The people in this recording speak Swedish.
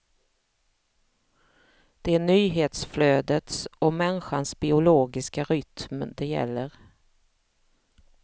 Det är nyhetsflödets och människans biologiska rytm det gäller.